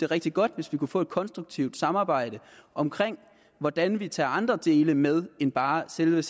rigtig godt hvis vi kunne få et konstruktivt samarbejde om hvordan vi tager andre dele med end bare selve